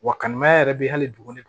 Wa kanni mayɛrɛ bi hali dugu